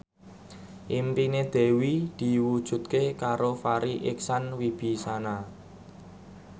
impine Dewi diwujudke karo Farri Icksan Wibisana